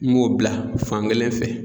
N b'o bila fankelen fɛ